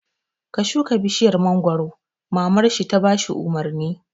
Ka shuka bishiyar mangoro! Mamar shi ta bashi umarni jiya